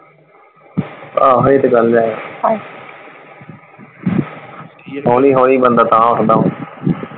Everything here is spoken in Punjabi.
ਆਹੋ ਉਹ ਤੇ ਗੱਲ ਹੈ ਹੋਲੀ ਹੋਲੀ ਬੰਦਾ ਤਾਹ ਉੱਠਦਾ ਵਾ।